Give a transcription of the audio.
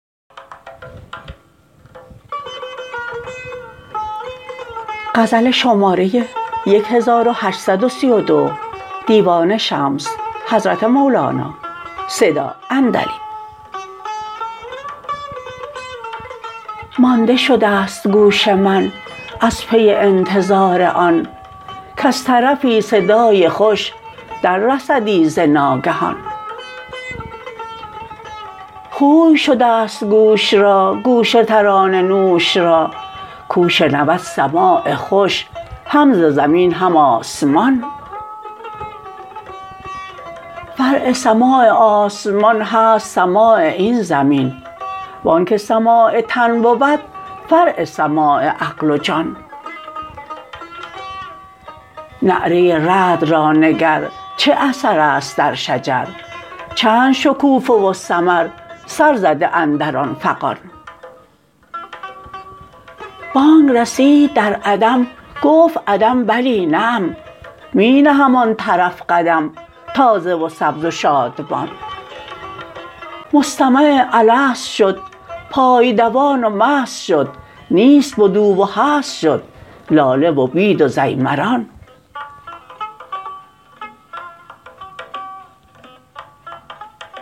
مانده شده ست گوش من از پی انتظار آن کز طرفی صدای خوش دررسدی ز ناگهان خوی شده ست گوش را گوش ترانه نوش را کو شنود سماع خوش هم ز زمین هم آسمان فرع سماع آسمان هست سماع این زمین و آنک سماع تن بود فرع سماع عقل و جان نعره رعد را نگر چه اثر است در شجر چند شکوفه و ثمر سر زده اندر آن فغان بانگ رسید در عدم گفت عدم بلی نعم می نهم آن طرف قدم تازه و سبز و شادمان مستمع الست شد پای دوان و مست شد نیست بد او و هست شد لاله و بید و ضیمران